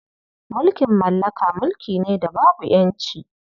Mulkin mallaka mulki ne da babu ƴanci.